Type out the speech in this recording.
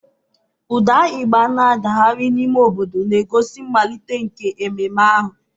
Ụda igba na-adagharị n'ime obodo, na-egosi mmalite nke ememe ahụ.